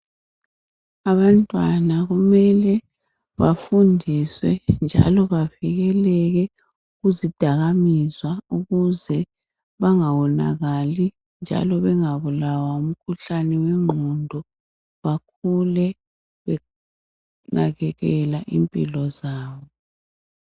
Abantwana kumele bafundiswe njalo bavikeleke kuzidakamezwa ukuze bangawonakali njalo bengabulawa ngumkhuhlane wengqondo bakhule benakekela impilo zabo